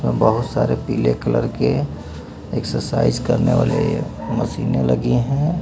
बहुत सारे पीले कलर के एक्सरसाइज करने वाले मशीने रखे हैं।